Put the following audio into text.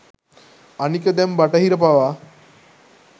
අනික දැන් බටහිර පවා